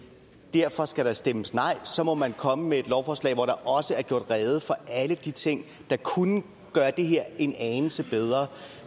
derfor skal der stemmes nej så må man komme med et lovforslag hvor der også er gjort rede for alle de ting der kunne gøre det her en anelse bedre